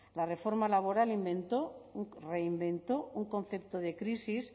la reforma laboral inventó reinventó un concepto de crisis